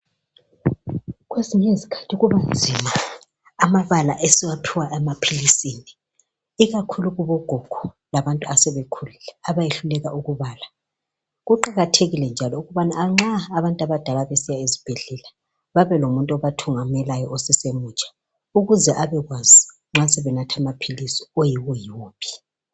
Kwezinye izikhathi kubanzima amabala esiwaphiwa emaphilisini ikakhulu kubogogo labantu abasebekhulile bayayehluleka ukubala. Kuqakathekile njalo nxa abantu abadala besiya ezibhedlela babe lomuntu obathungamelayo osesemutsha ukuze abekwazi nxa sebenatha amaphili ayiwoyiwo.